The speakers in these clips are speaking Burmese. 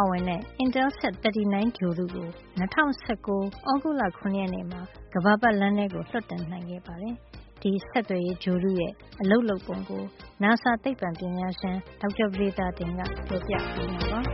ါဝင်တဲ့ Intelsat-39 ဂြိုဟ်တုကို ၂၀၁၉ သြဂုတ်လ ၇ ရက်မှာ ကမ္ဘာပတ်လမ်းထဲ လွှတ်တင်နိုင်ခဲ့ပါတယ်။ ဒီဆက်သွယ်ရေးဂြိုဟ်တုရဲ့ အလုပ်လုပ်ပုံကို နာဆာ သိပ္ပံပညာရှင် ဒေါက်တာ ပဒေသာတင်က ပြောပြပေးမှာပါ။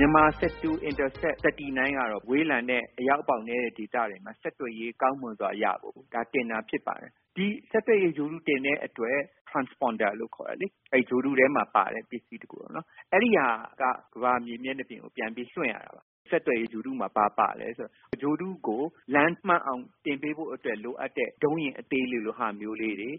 “MyanmarSat 2 – Intelsat-39 ကတော့ ဝေးလံတဲ့ အရောက်ပေါက်နဲတဲ့ ဒေသတွေမှာ ဆက်သွယ်ရေး ကောင်းမွန်စွာ ရဖို့တင်တာ ဖြစ်ပါတယ်။ ဒီဆက်သွယ်ရေး ဂြိုဟ်တု တင်တဲ့အတွက် transponder လို့ခေါ်တဲ့ ဂြိုဟ်တုထဲမှာပါတဲ့ ပစ္စည်းတခု ပေါ့နော်။ အဲဒီဟာက ဘာလဲဆိုတော့ ကမ္ဘာမြေမျက်နှာပြင်ကို ပြန်ပြီးတော့ လွှင့်ရတယ်။ အဲဒီ ဆက်သွယ်ရေး ဂြိုလ်တုမှာ ဘာပါလဲဆိုတော့ ဂြိုဟ်တုကို လမ်းမှန်အောင်တင်ပေးဖို့လိုအပ်တဲ့ ဒုံးယာဉ် အသေးလေးလိုဟာမျိုးတွေ၊ လျှပ်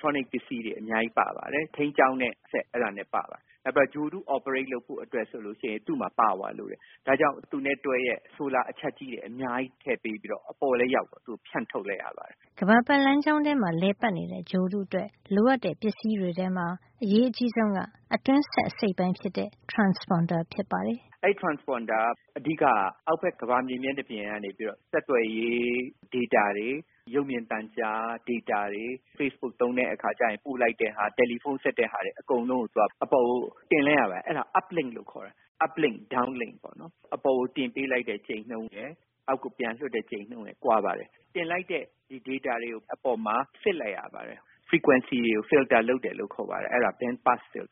စစ်ပစ္စည်း အသေးလေးတွေ အများကြီး ပါပါတယ်။ ထိန်းကျောင်းတဲ့စက် အဲဒါလည်း ပါပါတယ်။ နောက်ပြီး ဂြိုဟ်တု operate လုပ်ဖို့အတွက်ဆို သူ့မှာ ပါဝါ - စွမ်းအားလိုပါတယ်။ ဒါကြောင့် သူနဲ့တွဲရက် ဆိုလာအချပ်ကြီးတွေ အများကြီး ထည့်ပေးပြီးတော့ အပေါ်လည်း ရောက်ရော ဖြန့်ထုတ်လိုက်တယ်။” ကမ္ဘာပတ်လမ်းကြောင်းထဲ လည်ပတ်နေတဲ့ ဂြိုဟ်တုအတွက် လိုအပ်တဲ့ ပစ္စည်းတွေထဲမှာ အရေးအကြီးဆုံးက အတွင်းစက်အစိတ်အပိုင်းဖြစ် တဲ့ transponder ဖြစ်ပါတယ်။ “အဲဒီ transponder က အဓိက-က အောက်ဘက် ကမ္ဘာမြေ မျက်နှာပြင်ကနေပြီးတော့ ဆက်သွယ်ရေး ဒေတာ တွေ၊ ရုပ်မြင်သံကြား ဒေတာတွေ၊ facebook သုံးတဲ့အခါကျရင် ပို့ လိုက်တဲ့ဟာ၊ တယ်လီဖုံးဆက်တဲ့ဟာတွေ အကုန်လုံးကို သူက အပေါ်ကို တင်လိုက်ရပါတယ်။ အဲဒါကို uplink လို့ခေါ်တယ်။ uplink – downlink လို့ ခေါ်တယ်။ အပေါ်ကို တင်ပေးလိုက်တဲ့ ကြိမ်နှုန်းရယ်၊ အောက်ကို ပြန်လွှတ်လိုက်တဲ့ ကြိမ်နှုန်းရယ် ကွာပါတယ်။ တင်လိုက်တဲ့ ဒီ ဒေတာတွေကို အပေါ်မှာ စစ်လိုက်ရပါတယ်။ Frequencies တွေကို filter လုပ်တယ်လို့ ခေါ်ပါတယ်။ အဲဒါ…. လို့ ခေါ်ပါတယ်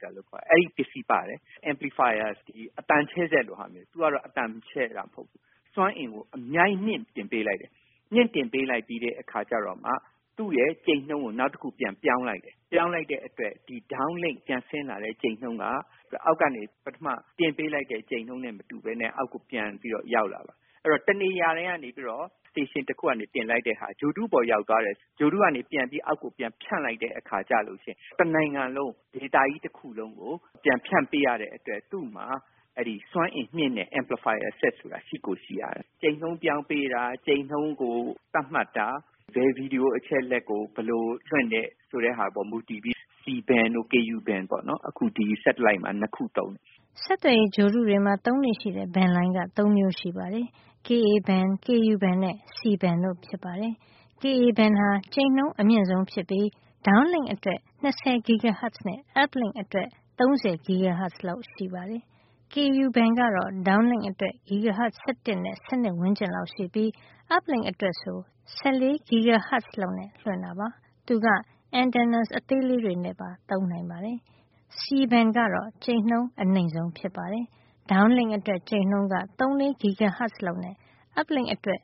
။ အဲဒီပစ္စည်းပါတယ်။ amplifier - အသံချဲ့စက်လိုဟာမျိုး။ သူကတော့ အသံချဲ့တာပေါ့။ စွမ်းအင်ကို အများကြီး မြှင့်တင်ပေးလိုက်တယ်။ မြှင့်တင်ပေးလိုက်ပြီးတဲ့အခါကျတော့မှ သူ့ရဲ့ကြိမ်နှုန်းကို နောက်တခုပြန်ပြီး ပြောင်းလိုက် တယ်။ ပြောင်းလိုက်တဲ့အတွက် ဒီ downlink ပြန်ဆင်းလာတဲ့ကြိမ်နှုန်းက အောက်ကနေ ပထမ တင်ပေးလိုက်တဲ့ကြိမ်နှုန်းနဲ့မတူဘဲနဲ့ အောက်ကို ပြန်ပြီးတော့ ရောက်လာတယ်။ အဲဒီတော့ တနေရာတည်းကနေပြီးတော့ station တခုကနေတင်လိုက်တဲ့ဟာက ဂြိုဟ်တုပေါ် ရောက်သွားတဲ့အချိန်မှာ ဂြိုဟ်တုကနေ အောက်ကိုပြန်ပြီး ဖြန့်လိုက်တဲ့အခါကျလို့ရှိရင် တနိုင်ငံလုံး၊ ဒေသကြီးတခုလုံးကို ပြန်ဖြန့်ပေးရတဲ့ အတွက် သူ့မှာ စွမ်းအင်မြှင့်တဲ့ amplifier စက်ဆိုတာ ရှိကိုရှိရတယ်။ ကြိမ်နှုန်းပြောင်းပေးတာ၊ ကြိမ်နှုန်းကို သတ်မှတ်တာ၊ ဘယ်ဗွီဒီယို အချက်အလက်ကို ဘယ်လိုလွှင့်တဲ့ဟာပေါ်မူတည်ပြီး C-band တို့ ku-band တို့ ပေါ့နော်။ အခု ဒီ satellite မှာ ၂ ခု သုံးတယ်။” ဆက်သွယ်ရေးဂြိုဟ်တုတွေ မှာ သုံးလေ့ရှိတဲ့ band လိုင်းက ၃ မျိုးရှိပါတယ်။ Ka-band ၊ Ku-band နဲ့ C-band တို့ဖြစ်ပါတယ်။ Ka-band ဟာ ကြိမ်နှုန်းအမြင့်ဆုံးဖြစ်ပြီး downlink အတွက် ၂၀ GHz နဲ့ uplink အတွက် ၃၀ GHz လောက်ရှိပါတယ်။ Ku-band ကတော့ downlink အတွက် GHz ၁၁ နဲ့ ၁၂ ဝန်းကျင်ရှိပြီး uplink အတွက်ဆို ၁၄ GHz လောက်နဲ့လွှင့်ပါတယ်။ သူက antennas အသေးလေးတွေနဲ့ပါ သုံးနိုင်တာပါ။ C-band ကတော့ ကြိမ်နှုန်း အနိမ့်ဆုံး ဖြစ်ပါတယ်။ downlink အတွက် ကြိမ်နှုန်းက ၃ - ၄ GHz လောက်နဲ့ uplink အတွက်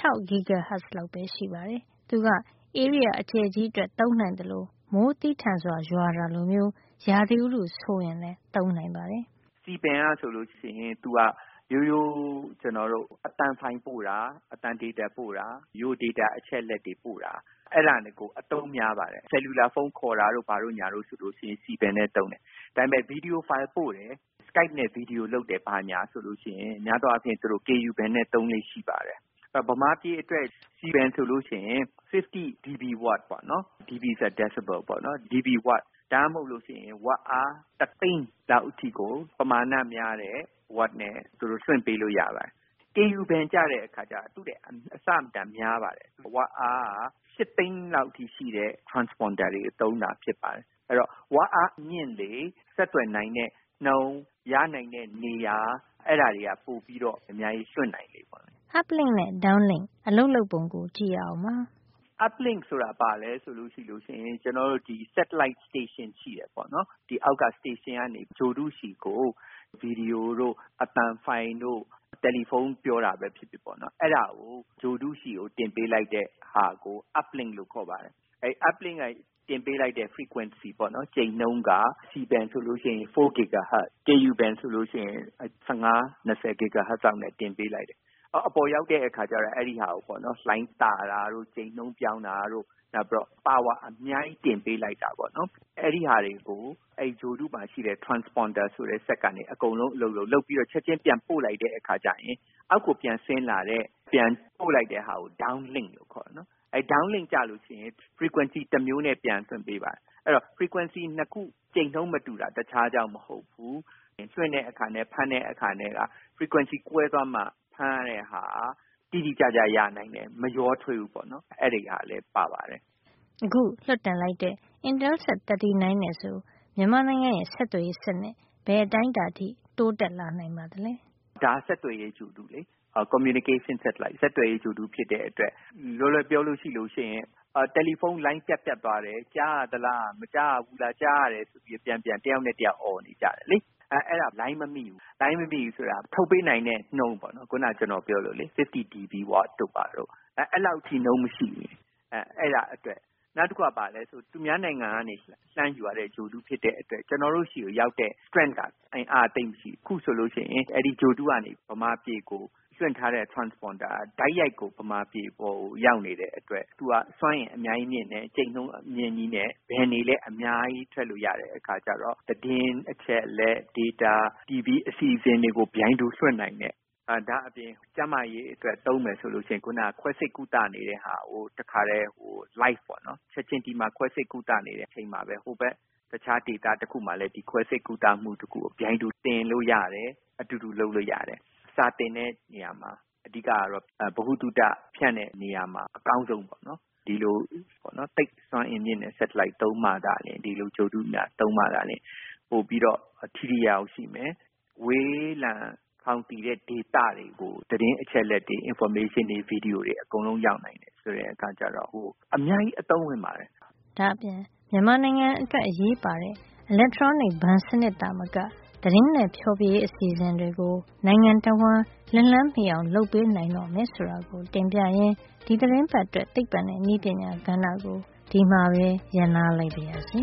၆ GHz လောက်ပဲရှိပါတယ်။ သူက ဧရိယာအကျယ်ကြီးအတွက် သုံးနိုင်သလို မိုးသည်းထန်စွာရွာတာလိုမျိုး ရာသီဥတုဆိုးရင်လည်း သုံးနိုင်ပါတယ်။ “C band က ဆိုလို့ရှိရင် သူက ရိုးရိုး အသံဖိုင်ပို့တာ၊ အသံဒေတာပို့တာ၊ ရိုးရိုးဒေတာ အချက်အလက်တွေ ပို့တာ၊ အဲဒါတွေကို အသုံးများပါတယ်။ ဆယ်လူလာဖုံး ခေါ်တာတို့၊ ဘာတို့၊ ညာတို့ ဆိုလို့ရှိရင် C-band နဲ့သုံးတယ်။ ဒါပေမယ့် ဗွီဒီယို ဖိုင် ပို့ရင် skype နဲ့ ဗွီဒီယိုလုပ်တယ် ဘာညာ ဆိုလို့ရှိရင် များသောအားဖြင့် သူတို့ ku-band နဲ့ သုံးလေ့ရှိပါတယ်။ အဲဒီတော့ ဗမာပြည်အတွက် C-band ဆိုလို့ရှိရင် (50 db watt) ပေါ့နော်။ db ဆိုတာ decible ပေါ့နော်။ db watt ဒါမှမဟုတ်လို့ရှိရင် ဝပ်အား ၁ သိန်းလောက်အထိကို ပမာဏများတဲ့ ဝပ်နဲ့ သူတို့ လွှင့်ပေးလို့ရတယ်။ Ku-band ကျတဲ့အခါကျတော့ သူ့ထက် အဆမတန် များပါတယ်။ ဝပ်အားက ၈ သိန်းလောက်အထိ ရှိတဲ့ transponder တွေ သုံးတာဖြစ်ပါတယ်။ အဲဒီတော့ ဝပ်အား မြင့်လေ၊ ဆက်သွယ်နိုင်တဲ့နှုန်း၊ ရနိုင်တဲ့နေရာ၊ အဲဒါတွေက ပိုပြီးတော့ အများကြီး လွှင့်နိုင်လေပါပဲ။ Uplink နဲ့ downlink အလုပ်လုပ်ပုံကို ကြည့်ရအောင်ပါ။ uplink ဆိုတာ ဘာလဲဆိုတာကြည့်လို့ရှိရင် ကျနော်တို့ ဒီ satellite station ရှိတယ်ပေါ့နော်၊ အောက်က station ကနေ ဂြိုဟ်တုဆီကို ဗွီဒီယိုတို့၊ အသံဖိုင်တို့၊ တယ်လီဖုံးပြောတာပဲဖြစ်ဖြစ်ပေါ့နော်- အဲဒါကို ဂြိုဟ်တုဆီကို တင်ပေးလိုက်တာကို uplink လို့ ခေါ်ပါတယ်။ အဲဒီ uplink က တင်ပေးလိုက်တဲ့ frequency ပေါ့နော်၊ ကြိမ်နှုန်းက C-band ဆိုလို့ရှိရင် 4 GHz ၊ Ku-band ဆိုလို့ရှိရင် ၁၅/၂၀ GHz လောက်နဲ့ တင်ပေးလိုက်တယ်။ အပေါ်ရောက်တဲ့အခါကျတော့ အဲဒီဟာကို လှိုင်းသတာတို့ ၊ ကြိမ်နှုန်းပြောင်းတာတို့ ၊ နောက်ပြီးတော့ ပါဝါ အများကြီး တင်ပေးလိုက်တာပေါ့နော်။ အဲဒီဟာတွေကို ဂြိုဟ်တုမှာရှိတဲ့ Transponder ဆိုတဲ့စက်ကနေ အကုန်လုံး အလုပ်လုပ်၊ လုပ်ပြီးတော့ ချက်ခြင်းပြန်ပို့လိုက်တဲ့အခါကျရင် အောက်ကိုပြန်ဆင်းလာတဲ့ ပြန်ပို့လိုက်တဲ့ဟာကို downlink လို့ခေါ်တယ်နော်။ အဲဒီ downlink ကျလို့ရှိရင် frequency တမျိုးနဲ့ ပြန်လွှင့်ပေးပါတယ်။ အဲဒီတော့ frequency ၂ ခု ကြိမ်နှုန်းမတူတာ တခြားကြောင့်မဟုတ်ဘူး။ လွှင့်တဲ့အခါနဲ့ ဖမ်းတဲ့အခါနဲ့က frequency ကွဲသွားမှ ဖမ်းရတဲ့ဟာက တိတိကျကျ ရနိုင်တယ်။ မရောထွေးဘူးပေါ့နော်။ အဲဒီဟာလည်း ပါပါတယ်။ အခု လွှတ်တင်လိုက်တဲ့ intelset- 39 နဲ့ဆို မြန်မာနိုင်ငံရဲ့ ဆက်သွယ်ရေးစံနစ် ဘယ်အတိုင်းတာထိ တိုးတက်လာနိုင်ပါသလဲ။ “ဒါက ဆက်သွယ်ရေးဂြိုဟ်တုလေ။ communication satellite ၊ ဆက်သွယ်ရေးဂြိုဟ်တုဖြစ်တဲ့အတွက် လွယ်လွယ်ပြောရလို့ရှိရင် တယ်လီဖုံးလိုင်း ပြတ်ပြတ်သွားတယ်၊ ကြားရသလား၊ မကြားရဘူးလား၊ ကြားရတယ်ဆိုပြီး တယောက်နဲ့တယောက် ပြန်ပြန်အော်နေကြတယ်လေ၊ အဲဒါ လိုင်းမမိလို့၊ လိုင်းမမိဘူးဆိုတာက ထုတ်ပေးနိုင်တဲ့နှုန်းပေါ့နော်။ 50 db watt တို့ ဘာတို့၊ အဲလောက် ကြိမ်နှုန်းမရှိရင် အဲဒါအတွက်၊ နောက်တခုက ဘာလဲဆိုရင် သူများနိုင်ငံကနေ လှမ်းယူရတဲ့ဂြိုဟ်တုဖြစ်တဲ့အတွက် ကျနော်တို့ဆီကိုရောက်တဲ့ strength က အင်အားက သိပ်မရှိဘူး။ အခုဆိုလို့ရှိရင် အဲဒီ ဂြိုဟ်တုကနေ ဗမာပြည်ကို လွှင့်ထားတဲ့ transponder က ဗမာပြည်အပေါ်ကို တိုက်ရိုက်ကို ဗမာပြည်အပေါ်ကိုရောက်နေတဲ့အတွက် သူက စွမ်းအင် အများကြီးမြင့်တယ်။ ကြိမ်နှုန်းအမြင့်ကြီးနဲ့ band တွေလည်း အများကြီး ထည့်လို့ရတဲ့ အခါကျတော့ သတင်းအချက်အလက်၊ ဒေတာ၊ တီဗီအစီအစဉ်တွေကို ပြိုင်တူလွှင့်နိုင်တယ်။ ဒါ့အပြင် ကျန်းမာရေး အတွက ်သုံးမယ်ဆိုလို့ရှိရင် ခွဲစိတ်ကုသနေတဲ့ဟာကို တခါတည်း live ပေါ့နော်၊ ဒီမှာ ခွဲစိတ်ကုသနေတဲ့အချိန်မှာပဲ တခြားဒေသတခုမှာလည်း ဒီ ခွဲစိတ်ကုသမှုတခုကို ပြိုင်တူ သင်လို့ရတယ်။ အတူတူလုပ်လို့ရတယ်။ စာသင်တဲ့နေရာမှာ အဓိက ကတော့ ဗဟုသုတ ဖြန့်တဲ့နေရာမှာ အကောင်းဆုံးပေါ့နော်၊ ဒီလို သိပ်စွမ်းအင်မြင့်တဲ့ Satellite သုံးမှသာလျှင် ဒီလို ဂြိုဟ်တုများကို သုံးမှသာလျှင် ပိုပြီးတော့ ထိထိရောက်ရောက် ရှိမယ်။ ဝေးလံခေါင်သီတဲ့ ဒေသတွေကို သတင်းအချက်အလက်တွေ၊ information တွေ ၊ ဗွီဒီယိုတွေ အကုန်လုံးရောက်နိုင်တယ်-ဆိုတဲ့အခါကျတော့ အများကြီး အသုံးဝင်ပါတယ်။ ဒါ့အပြင် မြန်မာနိုင်ငံအတွက် အရေးပါတဲ့ electronic ဘဏ်စံနစ်သာမက သတင်းနဲ့ ဖျော်ဖြေရေး အစီအစဉ်တွေကို နိုင်ငံတဝှမ်း လက်လှမ်းမှီအောင် လုပ်ပေးနိုင်တော့မယ် ဆိုတာကိုတင်ပြရင်း ဒီသီတင်းပတ်အတွက် သိပ္ပံနဲ့နည်းပညာကဏ္ဍကို ဒီမှာပဲ ရပ်နားလိုက်ပါရစေ